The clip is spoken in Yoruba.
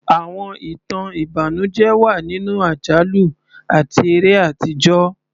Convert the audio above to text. Àwọn ìtàn ìbànújẹ́ wà nínú àjálù àti eré àtijọ́.